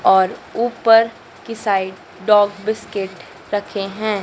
और ऊपर की साइड डॉग बिस्किट रखे हैं।